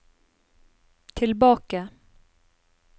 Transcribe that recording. tilbake